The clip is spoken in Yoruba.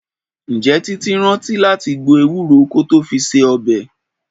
Ǹjẹ́ Títí rántí láti gbo Ewúro kó tó fi se ọbẹ̀?